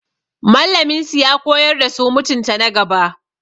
Mallamin su ya koyar da su mutunta na gaba.